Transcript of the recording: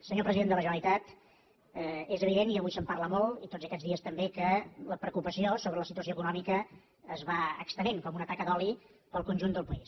senyor president de la generalitat és evident i avui se’n parla molt i tots aquests dies també que la preocupació sobre la situació econòmica es va estenent com una taca d’oli pel conjunt del país